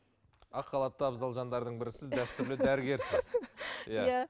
ақ халатты абзал жандардың бірісіз дәстүрлі дәрігерсіз иә